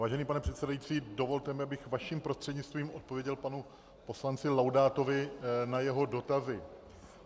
Vážený pane předsedající, dovolte mi, abych vaším prostřednictvím odpověděl panu poslanci Laudátovi na jeho dotazy.